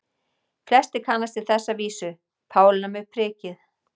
Flestir kannast við þessa vísu: Pálína með prikið